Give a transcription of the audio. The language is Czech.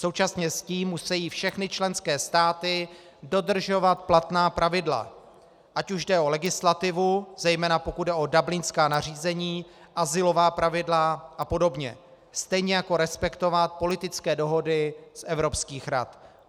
Současně s tím musejí všechny členské státy dodržovat platná pravidla, ať už jde o legislativu, zejména pokud jde o dublinská nařízení, azylová pravidla a podobně, stejně jako respektovat politické dohody z evropských rad.